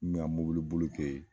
N kun bɛ n ka mɔbili boli kɛ yen.